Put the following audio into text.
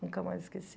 Nunca mais esqueci.